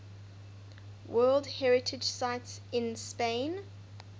world heritage sites in spain